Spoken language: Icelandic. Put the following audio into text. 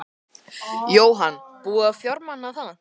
Jóhann: Búið að fjármagna það?